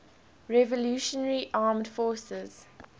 revolutionary armed forces